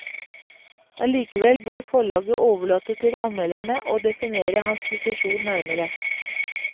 Allikevel bør forlaget overlate til anmelderne å definere hans posisjon nærmere.